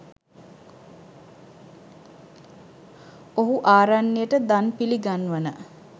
ඔහු ආරණ්‍යයට දන් පිළිගන්වන